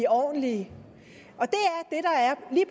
ordentlige